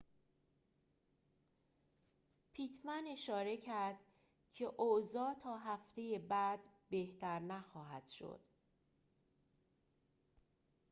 پیتمن اشاره کرد که اوضاع تا هفته بعد بهتر نخواهد شد